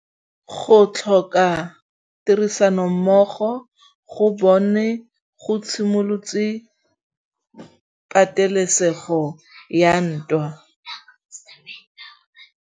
Go tlhoka tirsanommogo ga bone go simolotse patêlêsêgô ya ntwa.